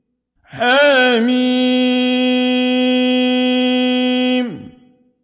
حم